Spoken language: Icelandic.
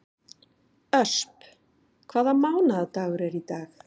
Ösp, hvaða mánaðardagur er í dag?